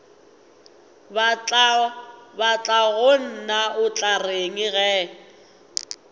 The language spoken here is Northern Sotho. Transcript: batlagonna o tla reng ge